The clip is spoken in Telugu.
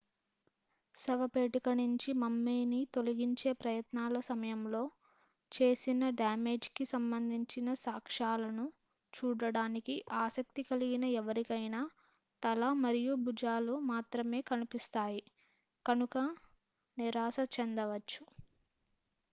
శవపేటిక నుంచి మమ్మీని తొలగించే ప్రయత్నాల సమయంలో చేసిన డ్యామేజీ కి సంబంధించిన సాక్ష్యాలను చూడటానికి ఆసక్తి కలిగిన ఎవరికైనా తల మరియు భుజాలు మాత్రమే కనిపిస్తాయి కనుక నిరాశచెందవచ్చు